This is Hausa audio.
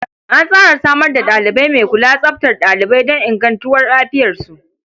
An tsara samar da ɗalibi mai kula tsaftar ɗalibai don ingantuwar lafiyarsu.